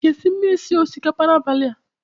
Ị ga-esi mmiri sie osikapa n'abalị a?